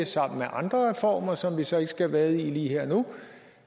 sammen med andre reformer som vi så ikke skal vade i lige her og nu